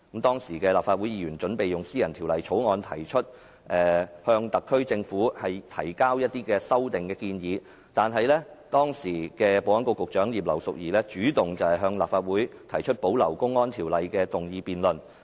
當時的立法會議員準備以私人法案向特區政府提交修正案，但時任保安局局長葉劉淑儀主動向立法會提出保留《公安條例》的議案辯論。